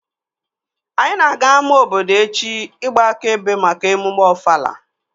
Anyị na-aga ama obodo echi ịgba aka ebe Mak emume Ofala